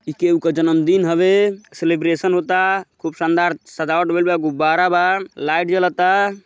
ई केहू क जन्मदिन हवे। सेलिब्रेशन होता। खूब शानदार सजावट भइल बा। गुब्बारे बा लाईट जलता।